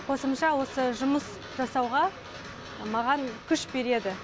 қосымша осы жұмыс жасауға маған күш береді